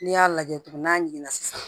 N'i y'a lajɛ tugun n'a jiginna sisan